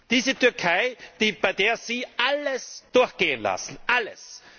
Diese Türkei, bei der Sie alles durchgehen lassen! Alles!